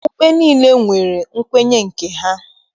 Okpukpe niile nwere nkwenye nke ha.